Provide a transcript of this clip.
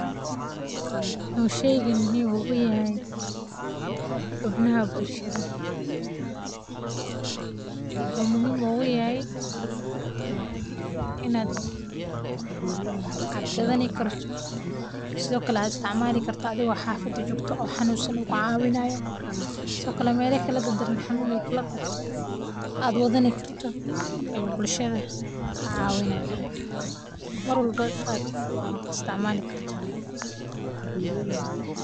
Muxuu shaygan muhiim ugu yahay xubnaha bulshaada, wuxuu muhiim ogu yahay in aad gadhani karto sithokale aad isticmali karto athigo xafada jogto oo xanunsan u ku cawinayo sithokale meela kala dar daran oo xanun u ku qabto aad wadhani karto ayu bulshaada kacawinaya, mar walbo in aad istimali karto.